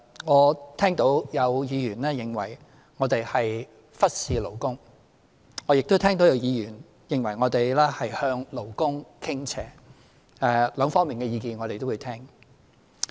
我聽到有議員認為我們忽視勞工，我亦聽到有議員認為我們向勞工傾斜，兩方面的意見我們也會聽。